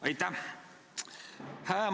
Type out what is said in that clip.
Aitäh!